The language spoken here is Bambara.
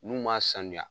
N'u m'a sanuya